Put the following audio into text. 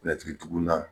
tugunna